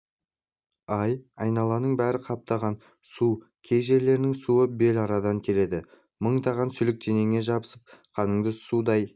ай айналаның бәрі қаптаған су кей жерлердің суы белуардан келеді мыңдаған сүлік денеңе жабысып қаныңды судай